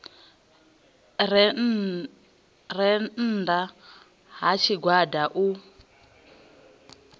re nnda ha tshigwada u